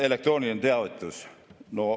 Elektrooniline teavitus.